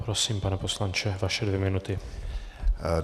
Prosím, pane poslanče, vaše dvě minuty.